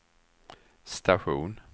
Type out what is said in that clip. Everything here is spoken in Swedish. station